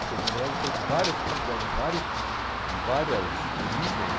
Porque, na verdade, teve várias coisas tiveram de vários de várias origens.